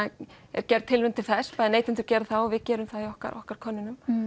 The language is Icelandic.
er gerð tilraun til þess neytendur gera það og við gerum það einnig í okkar okkar könnunum